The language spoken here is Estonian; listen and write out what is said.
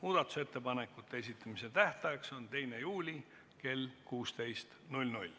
Muudatusettepanekute esitamise tähtaeg on 2. juuli kell 16.